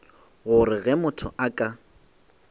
gore ge motho a ka